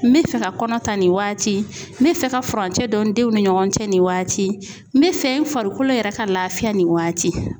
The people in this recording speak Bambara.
N bɛ fɛ ka kɔnɔ ta nin waati n bɛ fɛ ka furancɛ don n denw ni ɲɔgɔn cɛ nin waati n bɛ fɛ n farikolo yɛrɛ ka laafiya nin waati.